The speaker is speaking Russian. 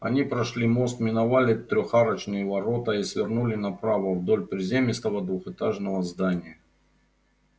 они прошли мост миновали трёхарочные ворота и свернули направо вдоль приземистого двухэтажного здания